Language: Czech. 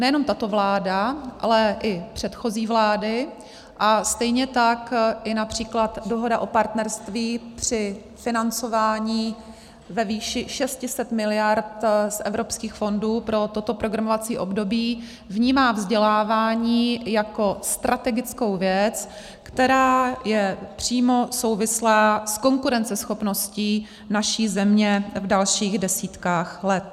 Nejenom tato vláda, ale i předchozí vlády a stejně tak i například dohoda o partnerství při financování ve výši 600 mld. z evropských fondů pro toto programovací období vnímá vzdělávání jako strategickou věc, která je přímo souvislá s konkurenceschopností naší země v dalších desítkách let.